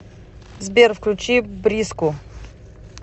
сбер включи бриску